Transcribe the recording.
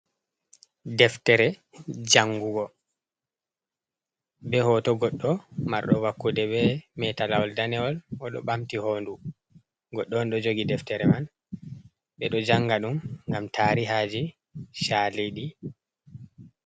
Deftere jangugo be hoto goɗɗo marɗo wakkude, be meta lawol danewol, o ɗo ɓamti hondu goɗɗo on ɗo jogi deftere man, ɓe ɗo janga ɗum ngam tarihaji chali ɗi.